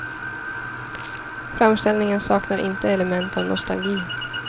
Framställningen saknar inte element av nostalgi.